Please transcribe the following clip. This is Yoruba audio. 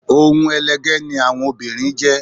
Ohun ẹlẹgẹ́ ni àwọn obìnrin jẹ́